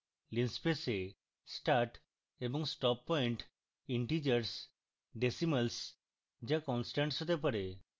linspace এ start এবং stop point integers decimals যা constants হতে পারে